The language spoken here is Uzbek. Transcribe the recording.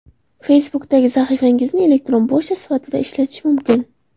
Facebookdagi sahifangizni elektron pochta sifatida ishlatish mumkin.